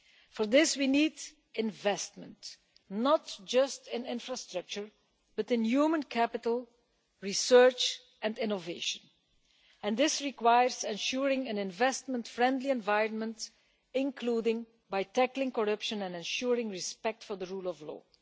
For this we need investment, not just in infrastructure but also in human capital, research and innovation, and this requires ensuring an investment friendly environment including by tackling corruption and ensuring respect for the rule of law.